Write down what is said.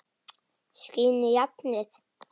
Skín í járnið.